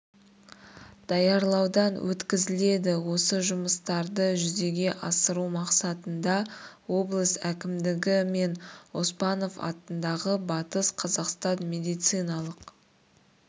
даярлаудан өткізіледі осы жұмыстарды жүзеге асыру мақсатында облыс әкімдігі мен оспанов атындағы батыс қазақстан медициналық